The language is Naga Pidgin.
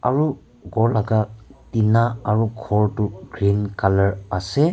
ro ghor laka tina aro ghor toh green colour ase.